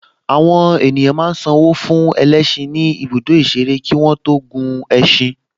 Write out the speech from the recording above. Àwọn ènìyàn a máa san owó fún ẹlẹ́ṣin ní ibùdó ìṣeré kí wọ́n tó gun ẹṣin